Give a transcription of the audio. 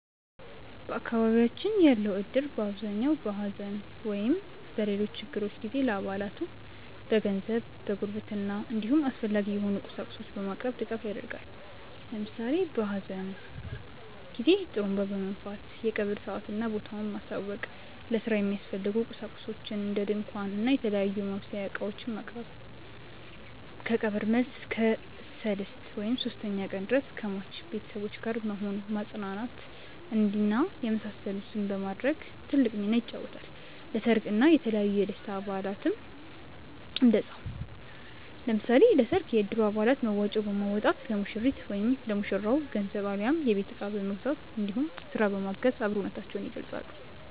በአካባቢያችን ያለው እድር በአብዛኛው በሐዘን ወይም በሌሎች ችግሮች ጊዜ ለአባላቱ በገንዘብ፣ በጉርብትና እንዲሁም አስፈላጊ የሆኑ ቁሳቁሶችን በማቅረብ ድጋፍ ያደርጋል። ለምሳሌ በሀዘን ጊዜ ጡሩንባ በመንፋት የቀብር ሰአትና ቦታውን ማሳወቅ፣ ለስራ የሚያስፈልጉ ቁሳቁሶችን እንደ ድንኳን እና የተለያዩ የማብሰያ እቃዎችን ማቅረብ፣ ከቀብር መልስ እስከ ሰልስት (ሶስተኛ ቀን) ድረስ ከሟች ቤተሰቦች ጋር በመሆን ማፅናናት እና የመሳሰሉትን በማድረግ ትልቅ ሚናን ይጫወታል። ለሰርግ እና የተለያዩ የደስታ በአላትም እንደዛው። ለምሳሌ ለሰርግ የእድሩ አባላት መዋጮ በማዋጣት ለሙሽሪት/ ለሙሽራው ገንዘብ አሊያም የቤት እቃ በመግዛት እንዲሁም ስራ በማገዝ አብሮነታቸውን ይገልፃሉ።